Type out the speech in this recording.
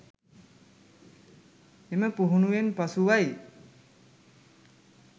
එම පුහුණුවෙන් පසුවයි